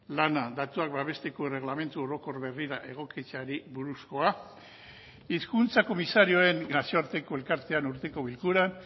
lana datuak babesteko erregelamendu orokor berrira egokitzeari buruzkoa hizkuntza komisarioen nazioarteko elkartean urteko bilkuran